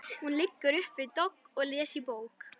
Hún liggur upp við dogg og les í bók.